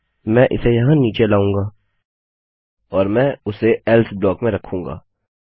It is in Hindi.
मैं इसे यहाँ नीचे लाऊँगा और मैं उसे एल्से ब्लॉक में रखूँगा